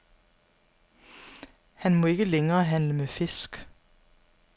Han må ikke længere handle med fisk.